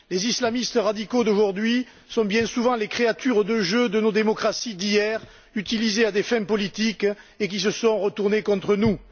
Les islamistes radicaux d'aujourd'hui sont bien souvent les créatures de jeu de nos démocraties d'hier qui ont été utilisées à des fins politiques et se sont retournées contre nous.